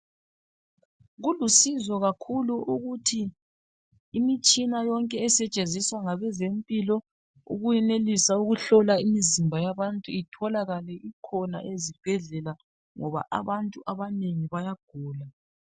Kulusizo kakhulu ukuthi imitshina yonke esetshenziswa ngabezempilo ukuyenelisa ukuhlola imzimba yabantu itholakale ikhona ezibhedlela ngoba abantu abanengi bayagula.